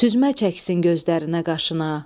Süzmə çəksin gözlərinə, qaşına.